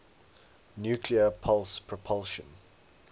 nuclear pulse propulsion